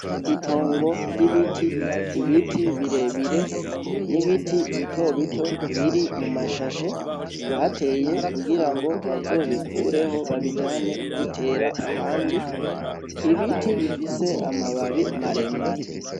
Itongo ry'ibiti. Ibiti birebire, n'ibiti bitobito biri mum'ashashe bateye kugirango bazobikureho babijane kubitera ahandi, Ibiti bifise amababi maremare.